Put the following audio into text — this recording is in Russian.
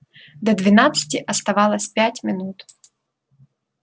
до двенадцати оставалось пять минут